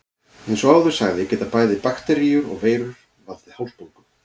Eins og áður sagði geta bæði bakteríur og veirur valdið hálsbólgu.